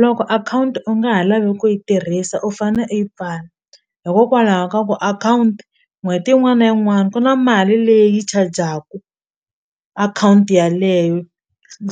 Loko akhawunti u nga ha lavi ku yi tirhisa u fane u yi pfala hikokwalaho ka ku akhawunti n'hweti yin'wana yin'wana ku na mali leyi chajaku akhawunti yaleyo